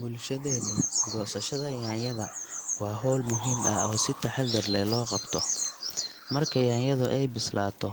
Bulshadeenna, goosashada yaanyada waa hawl muhiim ah oo si taxaddar leh loo qabto. Marka yaanyadu ay bislaato,